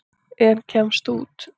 En kemst ekki út.